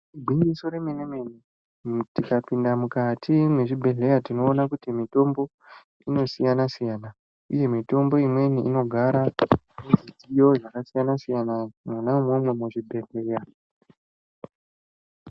Igwinyiso remene mene tikapinda mukati mwezvibhedhleya tinoona kuti mitombo inosiyana-siyana uye mitombo imweni inogara muzvidziyo zvakasiyana-siyana mwona umwomwo muchibhedhleya.